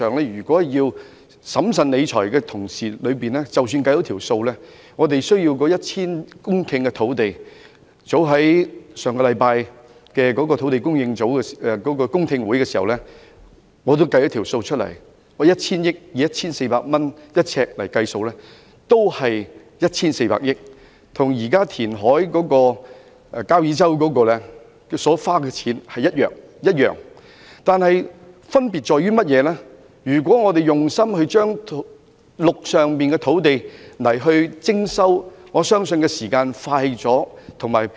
如果從審慎理財的角度來看，我們需要 1,000 公頃土地——這是我為上星期舉行有關土地供應的公聽會所計算的數字——如果以每平方呎 1,400 元來計算，所涉款額也只是 1,400 億元，與現時交椅洲填海計劃的預算開支相同，唯一的分別是如果我們用心徵收陸上土地，我相信時間會較快。